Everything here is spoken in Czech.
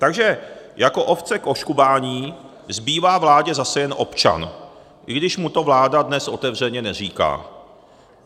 Takže jako ovce k oškubání zbývá vládě zase jen občan, i když mu to vláda dnes otevřeně neříká.